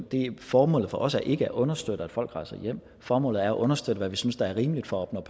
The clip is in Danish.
det formålet for os er ikke at understøtte at folk rejser hjem formålet er at understøtte hvad vi synes der er rimeligt for at opnå